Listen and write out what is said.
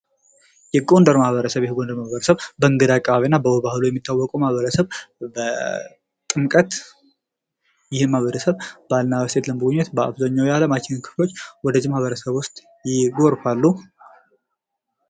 የጎንደር ማህበረሰብ :- የጎንደር ማህበረሰብ በእንግዳ አቀባበሉ የሚታወቀዉ ማህበረሰብ በጥምቀት ይህን ማህበረሰብ ለመጎብኘት በአብዛኛዉ የአለማችን ክፍሎች ማህበረሰቦች ይጎርፋሉ።